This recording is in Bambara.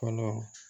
Fɔlɔ